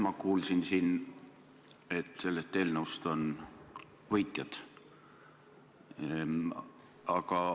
Ma kuulsin siin, et selle eelnõu tõttu on võitjaid.